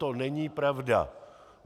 To není pravda.